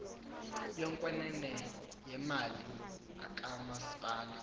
yokwenene yemali kamasipala